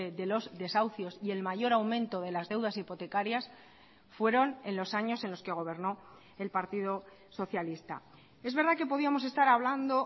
de los desahucios y el mayor aumento de las deudas hipotecarias fueron en los años en los que gobernó el partido socialista es verdad que podíamos estar hablando